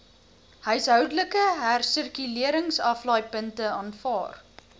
huishoudelike hersirkuleringsaflaaipunte aanvaar